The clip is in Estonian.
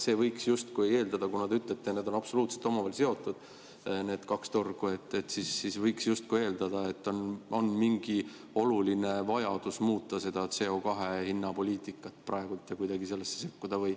Seega võiks justkui eeldada – te ju ütlete, et kõik on omavahel absoluutselt seotud, need kaks turgu –, et praegu on suur vajadus muuta CO2 hinna poliitikat ja kuidagi sellesse sekkuda.